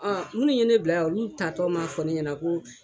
Ɔɔ munnu ye ne bila yan ,oluu taa tɔ ma fɔ ne ɲɛna ko